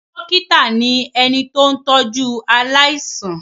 Dọ́kítá ni ẹni tó ń tọ́jú aláìsàn.